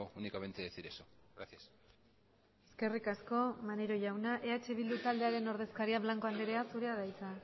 únicamente decir eso gracias eskerrik asko maneiro jauna eh bildu taldearen ordezkaria blanco andrea zurea da hitza